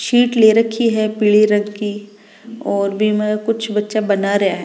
Seat ले रखी है पीली रंग की और बीम कुछ बच्चा बना रहा है।